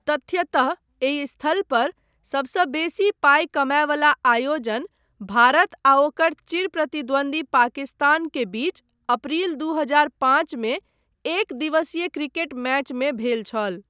तथ्यतः एहि स्थल पर सबसँ बेसी पाइ कमायवला आयोजन, भारत आ ओकर चिर प्रतिद्वंद्वी पाकिस्तान के बीच अप्रैल दू हजार पाँचमे एक दिवसीय क्रिकेट मैचमे भेल छल।